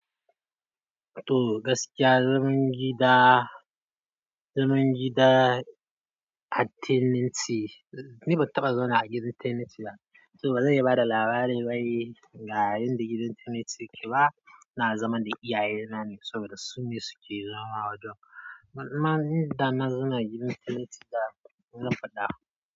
To gaskiya, zaman gida, zaman gida a tenancy, ni ban taɓa zauna a gidan tenancy ba, so bazan iya bada labari ba yi, ga yanda gidan tenancy yake ba. Na zama da iyaye na ne saboda su ne suke zama wajen. Manoma da na zama a gidan tenancy da zan faɗa.